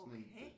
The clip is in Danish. Okay